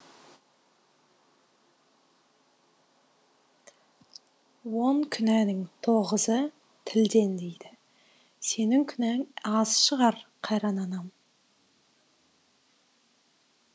он күнәнің тоғызы тілден дейді сенің күнәң аз шығар қайран анам